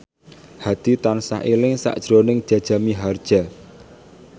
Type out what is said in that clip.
Hadi tansah eling sakjroning Jaja Mihardja